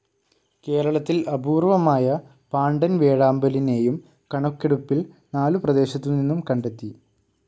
കേരളത്തിൽ അപൂർവമായ പാണ്ടൻ വേഴാമ്പലിനെയും കണക്കെടുപ്പിൽ നാലു പ്രദേശത്തു നിന്നും കണ്ടെത്തി.